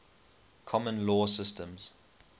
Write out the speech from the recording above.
common law systems